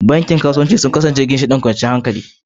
Bankunan kasuwanci a da sun kasance ginshiƙan kwanciyar hankali.